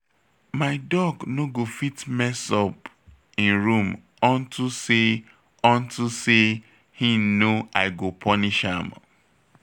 My dog no go fit mess up im room unto say unto say he know I go punish am